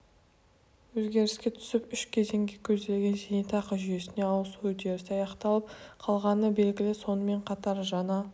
өзгеріске түсіп үш кезеңге көзделген зейнетақы жүйесіне ауысу үдерісі аяқталып қалғаны белгілі сонымен қатар жаңа